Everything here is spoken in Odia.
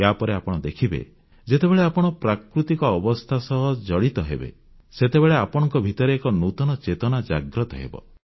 ୟା ପରେ ଆପଣ ଦେଖିବେ ଯେତେବେଳେ ଆପଣ ପ୍ରାକୃତିକ ଅବସ୍ଥା ସହ ଜଡ଼ିତ ହେବେ ସେତେବେଳେ ଆପଣଙ୍କ ଭିତରେ ଏକ ନୂତନ ଚେତନା ଜାଗ୍ରତ ହେବ